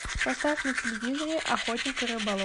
поставь на телевизоре охотник и рыболов